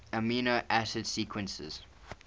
amino acid sequences